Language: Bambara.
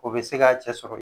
O bɛ se k' a cɛ sɔrɔ yen.